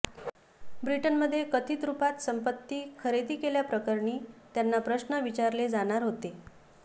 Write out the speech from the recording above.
ब्रिटनमध्ये कथित रुपात संपत्ती खरेदी केल्याप्रकरणी त्यांना प्रश्न विचारले जाणार होते